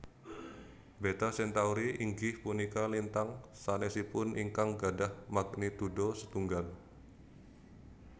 Beta Centauri inggih punika lintang sanesipun ingkang gadhah magnitudo setunggal